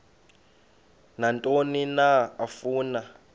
nantoni na afuna